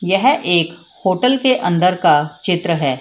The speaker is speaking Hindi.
यह एक होटल के अंदर का चित्र है।